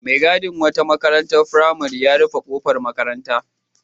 Mai gadin wata makarantar firamare ya rufe ƙofar makaranta.